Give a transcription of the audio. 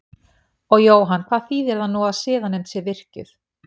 Og Jóhann hvað þýðir það nú að siðanefnd sé virkjuð?